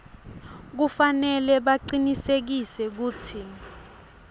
kufanele bacinisekise kutsi